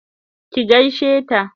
ki gaishe ta!